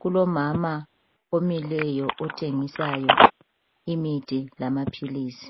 Kulomama omileyo othengisayo imithi lamaphilisi.